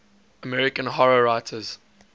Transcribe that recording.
american horror writers